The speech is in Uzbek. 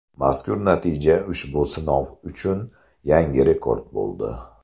Mazkur natija ushbu sinov uchun yangi rekord bo‘ldi.